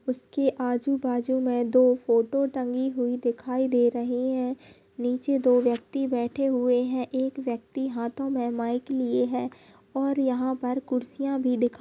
उसके आजू-बाजू में दो फोटो टंगी हुई दिखाई दे रही है नीचे दो व्यक्ति बैठे हुए हैं एक व्यक्ति हाथों में माइक लिए है और यहाँ पर कुर्सियां भी दिखा --